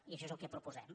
i això és el que proposem